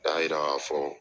A y'a yira k'a fɔ